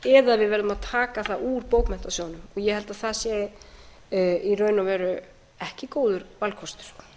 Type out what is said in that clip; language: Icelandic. við verðum í raun og veru að taka það úr bókmenntasjóði ég held að það sé í raun og veru ekki góður valkostur